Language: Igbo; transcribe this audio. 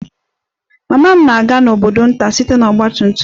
Mama m na-aga n'obodo nta site na ọgba tum tum